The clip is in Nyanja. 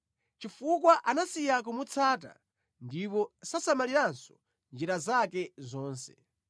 Chifukwa anasiya kumutsata ndipo sasamaliranso njira zake zonse.